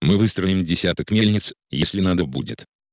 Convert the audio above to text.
мы выстроим десяток мельниц если надо будет